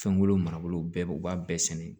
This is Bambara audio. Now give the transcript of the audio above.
Fɛnko marabolo bɛɛ u b'a bɛɛ sɛnɛ